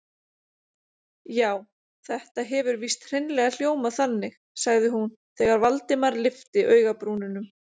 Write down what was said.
Já, þetta hefur víst hreinlega hljómað þannig- sagði hún þegar Valdimar lyfti augabrúnunum.